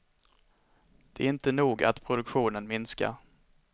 Det är inte nog att produktionen minskar.